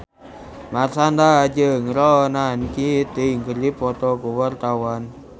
Marshanda jeung Ronan Keating keur dipoto ku wartawan